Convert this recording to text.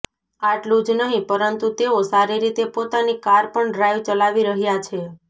આટલું જ નહિ પરંતુ તેઓ સારી રીતે પોતાની કાર પણ ડ્રાઇવ ચલાવી રહ્યાં છે